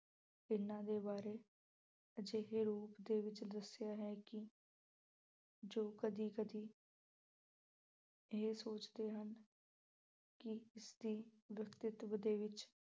ਇਹਨਾਂ ਦੇ ਬਾਰੇ ਅਜਿਹੇ ਰੂਪ ਦੇ ਵਿੱਚ ਦੱਸਿਆ ਹੈ ਕਿ ਜੋ ਕਦੀ-ਕਦੀ ਇਹ ਸੋਚਦੇ ਹਨ ਕਿ ਇਸ ਦੀ ਵਾਸਤਵ ਦੇ ਵਿੱਚ